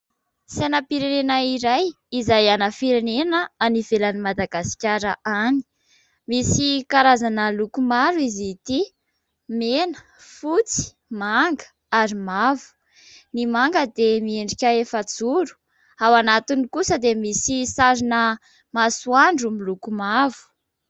Sainam-pirenena iray izay ana firenena any ivelan'i Madagasikara any, misy karazana loko maro izy ity : mena, fotsy, manga ary mavo. Ny manga dia miendrika efajoro ao anatiny kosa dia misy sarina masoandro miloko mavo.